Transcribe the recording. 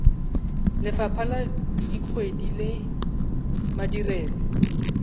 lefapha la dikgwebo le madirelo